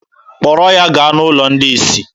Kpọrọ ya gaa n'ụlọ ndị isi!